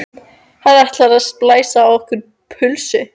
Hann ætlar að splæsa á okkur pulsu!